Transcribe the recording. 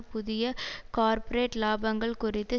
புதிய கார்ப்பொரேட் லாபங்கள் குறித்து